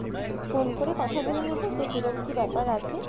phone করে কথা বলে নিবো যে কিরকম কি ব্যাপার আছে